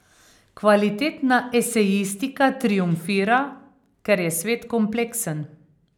Kvalitetna esejistika triumfira, ker je svet kompleksen.